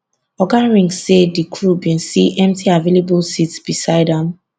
oga ring say di crew bin see empty available seats beside am